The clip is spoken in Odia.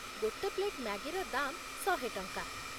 ଗୋଟେ ପ୍ଳେଟ୍ ମ୍ୟାଗିର ଦାମ୍ ଶହେ ଟଙ୍କା ।